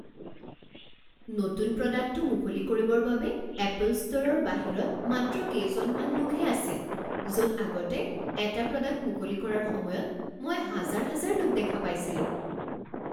নতুন প্ৰডাক্টটো মুকলি কৰিবৰ বাবে এপল ষ্ট'ৰৰ বাহিৰত মাত্ৰ কেইজনমান লোকহে আছিল য'ত আগতে এটা প্ৰডাক্ট মুকলি কৰাৰ সময়ত মই হাজাৰ হাজাৰ লোক দেখা পাইছিলোঁ।